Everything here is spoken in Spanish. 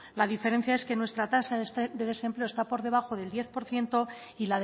la diferencia es que nuestra tasa de desempleo está por debajo del diez por ciento y